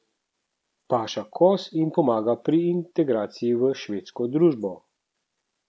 Paša koz jim pomaga pri integraciji v švedsko družbo.